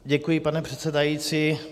Děkuji, pane předsedající.